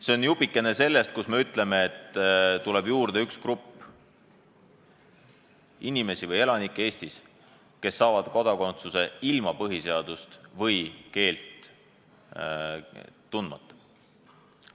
See on jupikene sellest, kui me ütleme, et tuleb juurde üks grupp inimesi või elanikke Eestis, kes saavad kodakondsuse ilma põhiseadust või keelt tundmata.